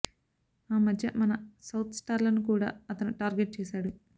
ఆ మధ్య మన సౌత్ స్టార్లను కూడా అతను టార్గెట్ చేశాడు